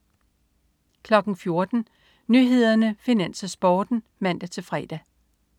14.00 Nyhederne, Finans, Sporten (man-fre)